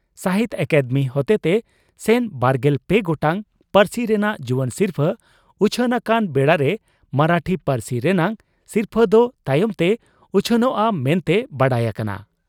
ᱥᱟᱦᱤᱛᱭᱚ ᱟᱠᱟᱫᱮᱢᱤ ᱦᱚᱛᱮᱛᱮ ᱥᱮᱱ ᱵᱟᱨᱜᱮᱞ ᱯᱮ ᱜᱚᱴᱟᱝ ᱯᱟᱹᱨᱥᱤ ᱨᱮᱱᱟᱜ ᱡᱩᱣᱟᱹᱱ ᱥᱤᱨᱯᱷᱟᱹ ᱩᱪᱷᱟᱹᱱ ᱟᱠᱟᱱ ᱵᱮᱲᱟᱨᱮ ᱢᱚᱨᱟᱴᱷᱤ ᱯᱟᱹᱨᱥᱤ ᱨᱮᱱᱟᱜ ᱥᱤᱨᱯᱷᱟᱹ ᱫᱚ ᱛᱟᱭᱚᱢ ᱛᱮ ᱩᱪᱷᱟᱹᱱᱚᱜᱼᱟ ᱢᱮᱱᱛᱮ ᱵᱟᱰᱟᱭ ᱟᱠᱟᱱᱟ ᱾